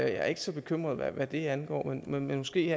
er ikke så bekymret hvad det angår men måske